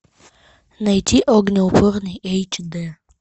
найти огнеупорный эйч д